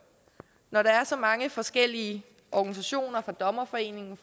når der er så mange forskellige organisationer dommerforeningen